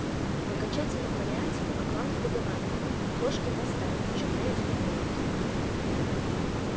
в окончательном варианте бакланов выговаривал кошки масдай в чём я и успокоилась